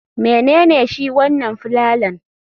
Menene shi wanan filalan?